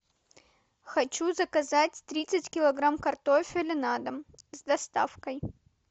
хочу заказать тридцать килограмм картофеля на дом с доставкой